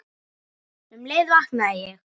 Um leið vaknaði ég.